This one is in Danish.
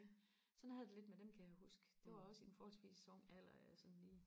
sådan havde jeg det lidt med den kan jeg huske det var også i en forholdsvis ung alder at jeg sådan lige